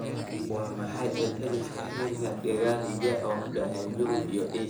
waa maxay celceliska heerka dakhliga u dhexeeya Yurub iyo Aasiya